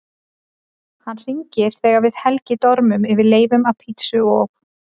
Hann hringir þegar við Helgi dormum yfir leifum af pizzu og